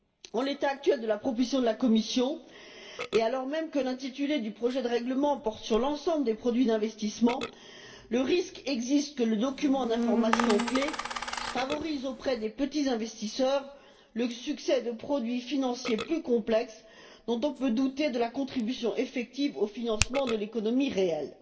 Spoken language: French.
En l'état actuel de la proposition de la Commission, et alors même que l'intitulé du projet de règlement porte sur l'ensemble des produits d'investissement, le risque existe que le document d'information clé favorise, auprès des petits investisseurs, le succès de produits financiers plus complexes dont on peut douter de la contribution effective au financement de l'économie réelle.